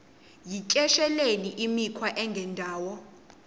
yityesheleni imikhwa engendawo